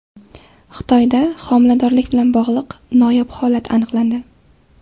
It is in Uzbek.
Xitoyda homiladorlik bilan bog‘liq noyob holat aniqlandi.